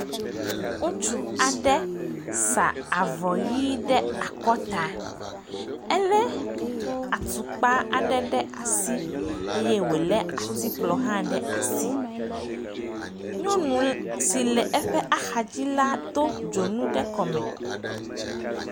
ŋutsu aɖe sa avɔ yi ɖe akɔta éle atukpa aɖe ɖe asi eye wóle atikplɔ hã ɖe asi nyɔnu si le eƒe axadzi la dó dzonu ɖe eƒe kɔme